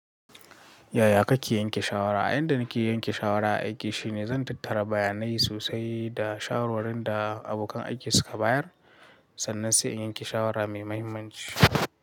Yaya kake yanke shawara? Ayanda nake yanke shawara aiki shine zan tattara bayanai sosai da shawarwari da abokan aiki suka bayar sannan sai in yanke shawara mai mahimmanci.